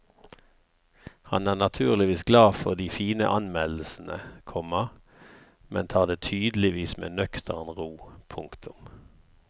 Han er naturligvis glad for de fine anmeldelsene, komma men tar det tydeligvis med nøktern ro. punktum